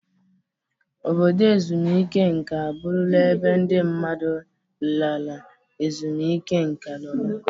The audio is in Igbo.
Obodo ezumike nka abụrụla ebe ndị mmadụ lara ezumike nka nọrọ.